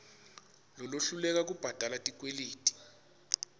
lolohluleka kubhadala tikweleti